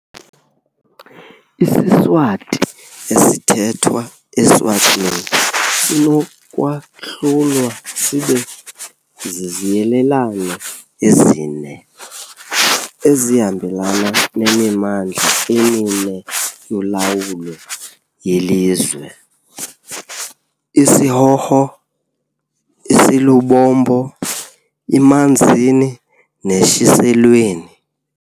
IsiSwati esithethwa e-Eswatini sinokwahlulwa sibe ziziyelelane ezine ezihambelana nemimandla emine yolawulo yelizwe- isiHhohho, isiLubombo, iManzini, neShiselweni.